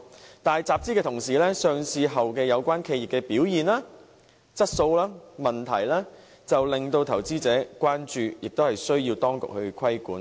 可是，在集資的同時，有關企業在上市後的表現、質素和問題就令投資者關注，亦需要當局規管。